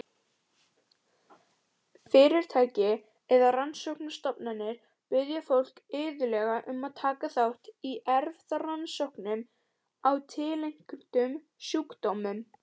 Fyrirtæki eða rannsóknastofnanir biðja fólk iðulega um að taka þátt í erfðarannsóknum á tilteknum sjúkdómum.